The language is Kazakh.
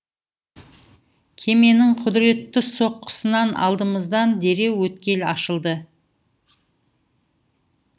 кеменің құдіретті соққысынан алдымыздан дереу өткел ашылды